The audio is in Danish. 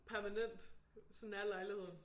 Permanent. Sådan er lejligheden